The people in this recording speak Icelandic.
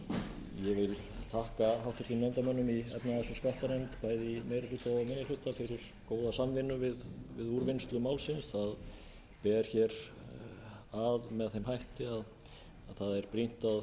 meiri hluta og minni hluta fyrir góða samvinnu við úrvinnslu málsins það ber að með þeim hætti að það er brýnt